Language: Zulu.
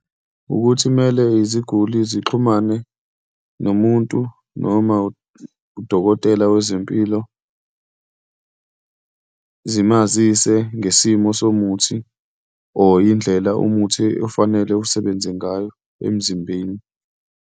Wukuthi kumele iziguli zixhumane nomuntu, noma udokotela wezempilo zimazise ngesimo somuthi, or indlela umuthi ofanele usebenze ngayo emzimbeni.